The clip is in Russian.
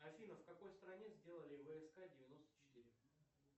афина в какой стране сделали вск девяносто четыре